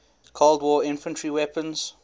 cold war infantry weapons